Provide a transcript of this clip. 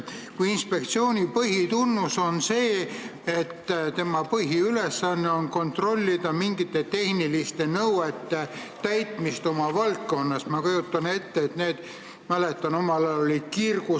Kui inspektsiooni põhitunnus on näiteks see, et tema põhiülesanne on kontrollida mingite tehniliste nõuete täitmist oma valdkonnas, siis äkki Keskkonnaministeeriumis on see inspektsioon valesti loodud?